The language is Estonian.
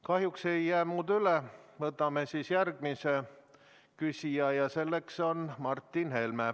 Kahjuks ei jää muud üle, võtame järgmise küsija ja selleks on Martin Helme.